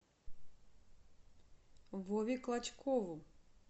вове клочкову